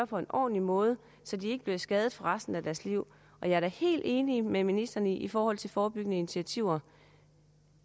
på en ordentlig måde så de ikke bliver skadet for resten af deres liv og jeg er da helt enig med ministeren i forhold til forebyggende initiativer